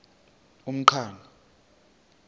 umqhano